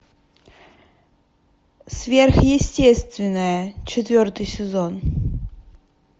сверхъестественное четвертый сезон